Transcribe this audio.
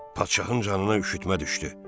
Padşahın canına üşütmə düşdü.